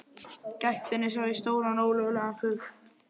gættinni sá ég stóran ólögulegan fugl.